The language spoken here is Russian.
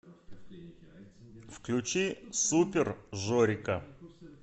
включи супер жорика